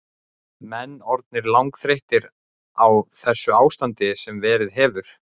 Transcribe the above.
Menn orðnir langþreyttir á þessu ástandi sem verið hefur?